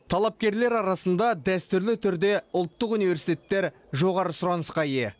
талапкерлер арасында дәстүрлі түрде ұлттық университеттер жоғары сұранысқа ие